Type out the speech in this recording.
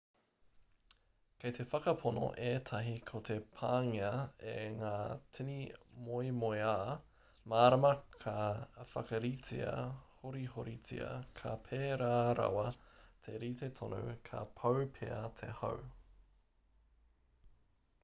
kei te whakapono ētahi ko te pāngia e ngā tini moemoeā mārama ka whakaritea horihoritia ka pērā rawa te rite tonu ka pau pea te hau